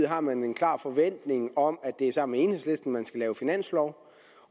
har man en klar forventning om at det er sammen med enhedslisten man skal lave finanslov